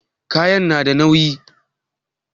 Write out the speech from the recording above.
Kayan na da nauyi?